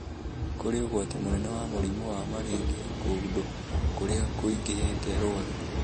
Kũrĩ ũgwati mũnene wa mũrimũ wa malaria kũndũ kũrĩa kũingĩhĩte rwagĩ